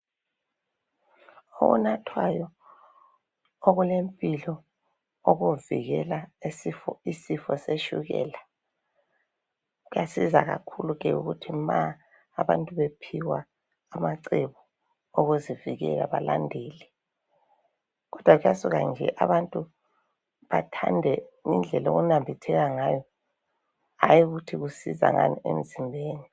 Okunathwayo okulempilo okuvikela isifo setshukela. Kuyasiza kakhulu ke ukuthi ma abantu bephiwa amacebo okuzivikela balandele. Kodwa kuyasuka nje abantu bathande ngendlela okunambitheka ngayo, hayi ukuthi kusisiza ngani emzimbeni.